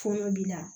Fonɛnɛ bi na